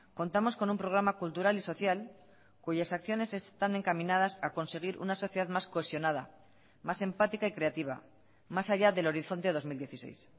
contamos con un programa cultural y social cuyas acciones están encaminadas a conseguir una sociedad más cohesionada más empática y creativa más allá del horizonte dos mil dieciséis